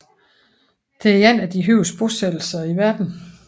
Det er en af de højeste bosættelser i verden